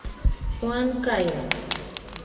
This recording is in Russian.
уанкайо